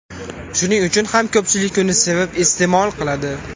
Shuning uchun ham ko‘pchilik uni sevib iste’mol qiladi.